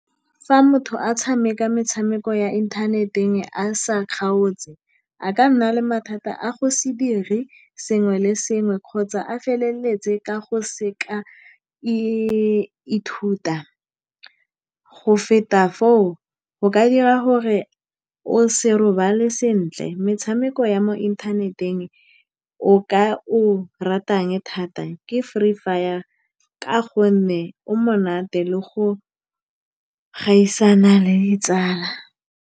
Fa motho a tshameka metshameko ya inthaneteng a sa kgaotse, a ka nna le mathata a go se dire sengwe le sengwe, kgotsa a feleletse ka go seka e ithuta go feta foo, go ka dira gore o se robale sentle. Metshameko ya mo inthaneteng o ka o ratang thata ke Free Fire ka gonne o monate le go gaisana le ditsala.